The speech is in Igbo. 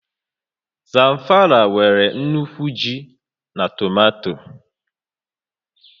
Zamfara nwere nnukwu ji na tomato